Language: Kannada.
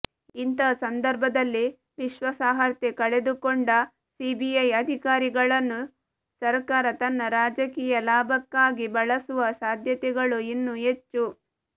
ಇಂತಹ ಸಂದರ್ಭದಲ್ಲಿ ವಿಶ್ವಾಸಾರ್ಹತೆ ಕಳೆದುಕೊಂಡ ಸಿಬಿಐ ಅಧಿಕಾರಿಗಳನ್ನು ಸರಕಾರ ತನ್ನ ರಾಜಕೀಯ ಲಾಭಕ್ಕಾಗಿ ಬಳಸುವ ಸಾಧ್ಯತೆಗಳು ಇನ್ನೂ ಹೆಚ್ಚು